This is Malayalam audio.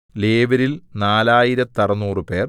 ലേവ്യരിൽ നാലായിരത്തറുനൂറുപേർ